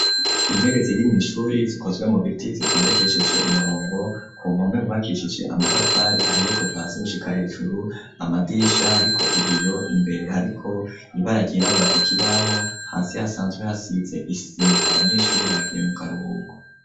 Intebe zirimw, ishuri zikozwe mu biti zitondekesheje umurongo ku mpome hubakishije amatafari ahiye kuva hasi gushika hejuru amadirisha hariko ibiyo imbere hariko ibara ryirabura ku kibaho, hasi hasanzwe hasize isima, abanyeshuri bagiye mu karuhuko.